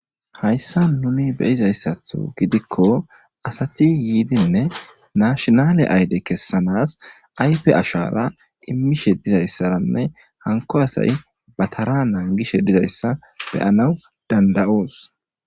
Hayssa nuni beyizayssaththo gidikko asati yiidinne naashinale ayde kessanas ayfe ashara immishshe dizayssaranne hankko asay batara naanigishshe dizayssa beyanaw dandayoos